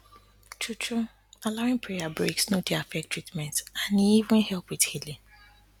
truetrue allowin prayer breaks no dey affect treatment and e even help wit healin